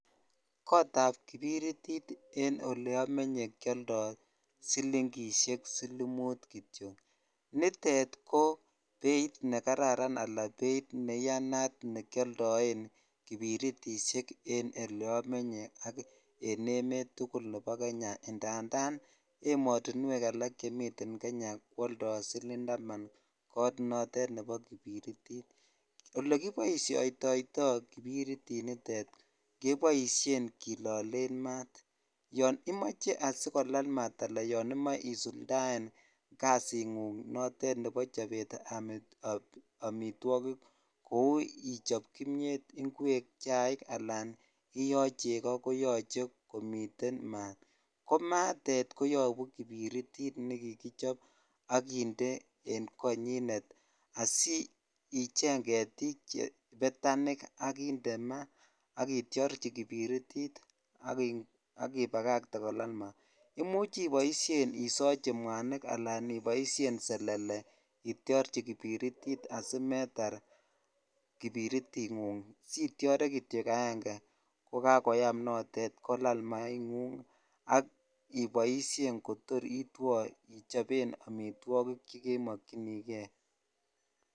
Kotab kiberititen oleamenye kioldo silingisiek silimut kityok nitet kobeit ne kararan nebeit iyanat nekioldoen kiberitisiek en oleamenye ak en emet tugul nebo kenya ndandan ematunwek alak chemiten Kenya kwaldo siling taman koot noton nebo kiberitit olekiboisiotoi kiberitit nitet keboisien kilolen maat yon imoche asikolal maat anan yonimoche isuldaen kasingung notet nebo chobet ab amitwakik kou ichob imiet, ingwek, chaik anan oliyoo cheko koyache komiten maat ko maatet koyabu kiniritit nekigichob ak konyinet asicheng ketik chebete betani ak indemaat akitiorchi kiberitit akipagakte kolal maat imuch isochi mwanik anan iboisien selele itiorchi kiberitit asimeter kiberitit nengug sitiare kityok agenge kokakoyam notetan maingung iboisien kotor itwo ichoben amitwagik chegemokyinigee